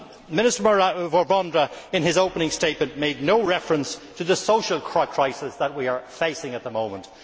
Minister Vondra, in his opening statement, made no reference to the social crisis we are facing at the moment.